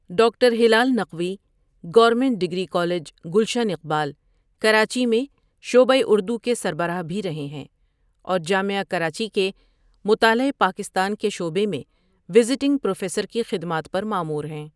Doctor Hilal Naqvi government degree college, Gulshan Iqbal ,Karachi میں شعبہ اردو کے سربراہ بھی رہے ہیں اورجامعہ کراچی کے مطالعہ پاکستان کے شعبہ میں وزٹنگ پروفیسر کی خدمات پرمامور ہیں ۔